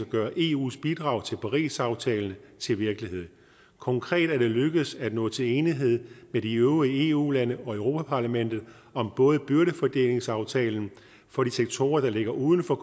gøre eus bidrag til parisaftalen til virkelighed konkret er det lykkedes at nå til enighed med de øvrige eu lande og europa parlamentet om både byrdefordelingsaftalen for de sektorer der ligger uden for